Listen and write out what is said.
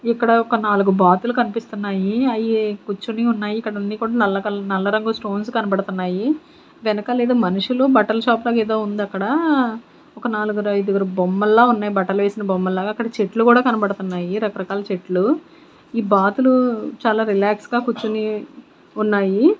ఇక్కడ ఒక నాలుగు బాతులు కనిపిస్తున్నాయి అయి కూర్చుని ఉన్నాయి ఇక్కడన్నీ కూడా నల్ల కాల్-- నాల్ల రంగు స్టోన్స్ కనబడుతున్నాయి వెనకాల ఏదో మనుషులు బట్టలు షాప్ లాగా ఏదో ఉంది అక్కడ ఒక నాలుగురు ఐదుగురు బొమ్మల్లా ఉన్నాయి బట్టలు వేసిన బొమ్మల్లాగా అక్కడ చెట్లు కూడా కనబడుతున్నాయి రకరకాల చెట్లు ఈ బాతులు చాలా రిలాక్స్ గా కూర్చుని ఉన్నాయి.